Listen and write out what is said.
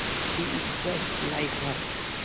she is just like her